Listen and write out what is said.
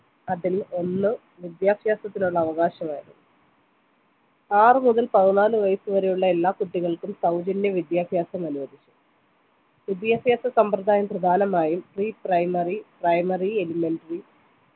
അതിൽ ഒന്ന് വിദ്യാഭ്യാസത്തിനുള്ള അവകാശമായിരുന്നു ആറ് മുതൽ പതിനാല് വയസ്സുവരെയുള്ള എല്ലാ കുട്ടികൾക്കും സൗജന്യ വിദ്യാഭ്യാസം അനുവദിച്ചു വിദ്യാഭ്യാസ സമ്പ്രദായം പ്രധാനമായും pre primary primary elementary